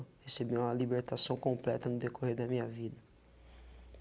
Recebi uma libertação completa no decorrer da minha vida.